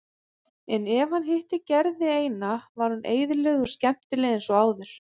En ef hann hitti Gerði eina var hún eðlileg og skemmtileg eins og áður.